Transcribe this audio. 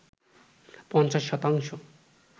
৫০ শতাংশ